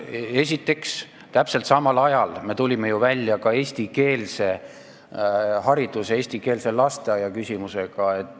Esiteks, täpselt samal ajal me tulime välja ka eestikeelse hariduse ja eestikeelse lasteaia ettepanekuga.